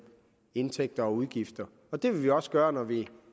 indtægter og udgifter det vil vi også gøre når vi